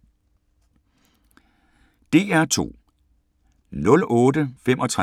DR2